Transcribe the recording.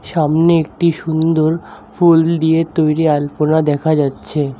সামনে একটি সুন্দর ফুল দিয়ে তৈরি আলপনা দেখা যাচ্ছে।